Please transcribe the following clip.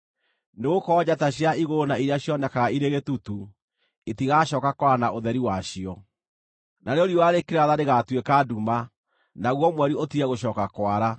Nĩgũkorwo njata cia igũrũ na iria cionekaga irĩ gĩtutu itigacooka kwara na ũtheri wacio. Narĩo riũa rĩkĩratha rĩgaatuĩka nduma, naguo mweri ũtige gũcooka kwara.